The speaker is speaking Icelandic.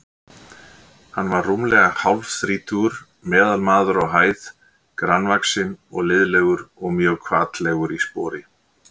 Hann var rúmlega hálfþrítugur, meðalmaður á hæð, grannvaxinn og liðlegur og mjög hvatlegur í spori.